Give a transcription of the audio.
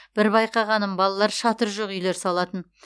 бір байқағаным балалар шатыры жоқ үйлер салатын